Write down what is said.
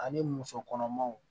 Ani muso kɔnɔmaw